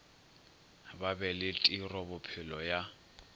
ba be le tirobophelo ya